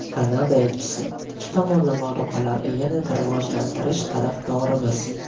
Kanada elchisi: Ikki tomonlama aloqalarni yanada rivojlantirish tarafdorimiz.